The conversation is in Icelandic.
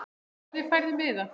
Hvernig færðu miða?